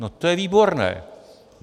No to je výborné!